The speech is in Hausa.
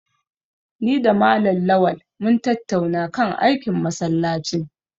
Ni da Malam Lawal mun tattauna kan aikin masallacin.